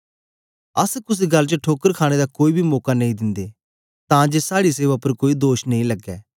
अस कुसे गल्ल च ठोकर खाणे दा कोई बी मौका नेई दिंदे तां जे साड़ी सेवा उपर कोई दोष नेई लगे